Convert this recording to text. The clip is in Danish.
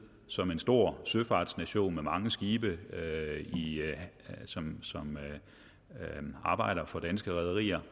som en stor søfartsnation med mange skibe som arbejder for danske rederier